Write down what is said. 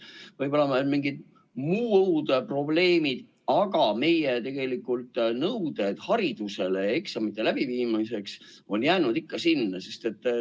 Võib-olla on mingid muud probleemid, aga meie nõuded eksamite läbiviimiseks on jäänud ikka samaks.